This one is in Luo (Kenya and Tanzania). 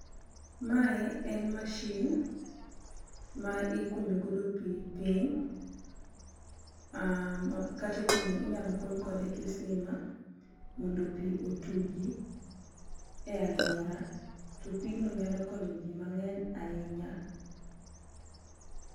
Mae en machine ma ikuonyo godo pi piny, katikunyo inyalo kuny kode kisima, mondo pi otugi e alwora. To pigno nyalo konyo ji mang'eny ahinya.